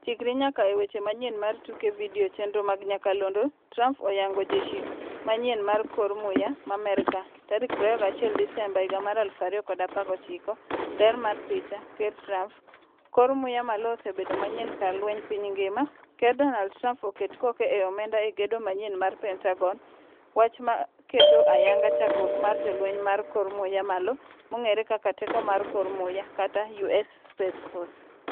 Chikri nyaka e weche manyien mar tuke video chenro mag nyakalondo Trump oyango jeshi manyien mar kor muya ma merka, 21 Desemba 2019. Ler mar picha, Ker Trump: "Kor muya malo osebedo manyien kar lweny piny ngima." Ker Donald Trump oket koke e omenda e gedo manyien mar Pentagon. Wach ma keto ayanga chakruok mar jolweny mar kor muya malo-mong'ere kaka "Teko mar kor Muya" kata "US Space Force".